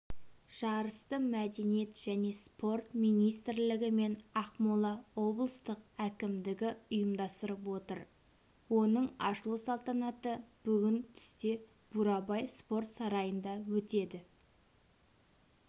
жарысты мәдениет және спорт министрлігі мен ақмола облыстық әкімдігі ұйымдастырып отыр оның ашылу салтанаты бүгін түсте бурабай спорт сарайында өтеді